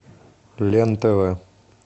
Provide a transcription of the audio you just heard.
лен тв